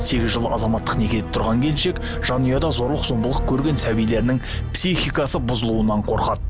сегіз жыл азаматтық некеде тұрған келіншек жанұяда зорлық зомбылық көрген сәбилерінің психикасы бұзылуынан қорқады